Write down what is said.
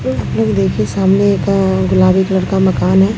एक blue gate के सामने एक गुलाबी कलर का मकान है।